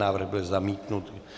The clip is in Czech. Návrh byl zamítnut.